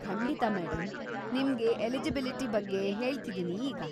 ಖಂಡಿತ ಮೇಡಂ! ನಿಮ್ಗೆ ಎಲಿಜಿಬಿಲಿಟಿ ಬಗ್ಗೆ ಹೇಳ್ತಿದೀನಿ ಈಗ.